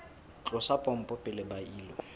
tlosa pompo pele ba ilo